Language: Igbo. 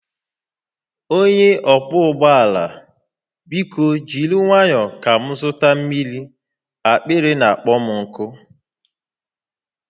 Onye ọkwọ ụgbọ ala biko jiri nwayọ ka m zụta mmiri, akpịrị na-akpọ m nkụ